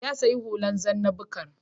Ya sayi hula zanna-bukar.